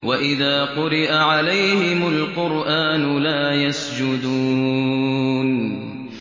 وَإِذَا قُرِئَ عَلَيْهِمُ الْقُرْآنُ لَا يَسْجُدُونَ ۩